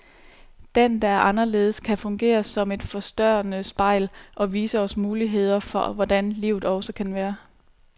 Den, der er anderledes, kan fungere som et forstørrende spejl, og vise os muligheder for hvordan livet også kan være.